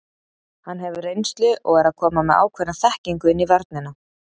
Hann hefur reynslu og er að koma með ákveðna þekkingu inn í vörnina.